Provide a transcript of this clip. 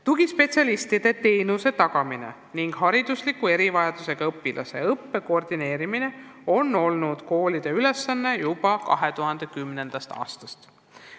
Tugispetsialistide teenuse tagamine ning haridusliku erivajadusega õpilaste õppe koordineerimine on olnud koolide ülesanne juba 2010. aastast.